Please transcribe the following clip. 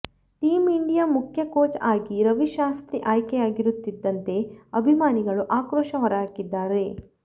team India ಮುಖ್ಯ coach ಆಗಿ ರವಿ ಶಾಸ್ತ್ರಿ ಆಯ್ಕೆಯಾಗುತ್ತಿದ್ದಂತೆ ಅಭಿಮಾನಿಗಳು ಆಕ್ರೋಶ ಹೊರಹಾಕಿದ್ದಾರೆ